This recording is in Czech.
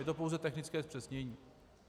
Je to pouze technické zpřesnění.